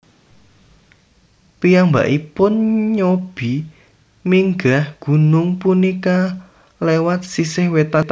Piyambakipun nyobi minggah gunung punika lewat sisih wetan gunung